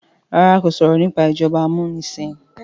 ràrá kò sọrọ nipa ìjọba amunisin.